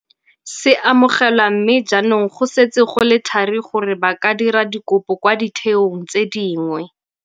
Se amogelwa mme jaanong go setse go le thari gore ba ka dira dikopo kwa ditheong tse dingwe.